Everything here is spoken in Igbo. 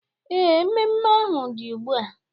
Ee, mmemme ahu dị ugbua